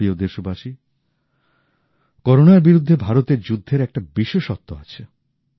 আমার প্রিয় দেশবাসী করোনার বিরুদ্ধে ভারতের যুদ্ধের একটা বিশেষত্ব আছে